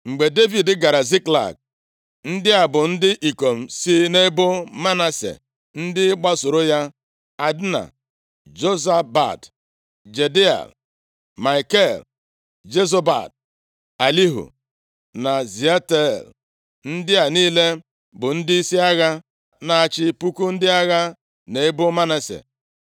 Mgbe Devid gara Ziklag, ndị a bụ ndị ikom si nʼebo Manase ndị gbasooro ya: Adna, Jozabad, Jediael, Maikel, Jozabad, Elihu na Ziletai. Ndị a niile bụ ndịisi agha na-achị puku ndị agha nʼebo Manase.